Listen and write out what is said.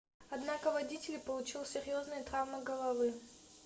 однако водитель получил серьезные травмы головы